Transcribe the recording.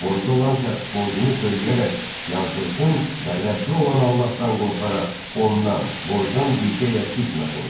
Borclu olan şəxs borcunu söyləyərək yazdırsın və Rəbbi olan Allahdan qorxaraq ondan borcdan bir şey əskiltməsin.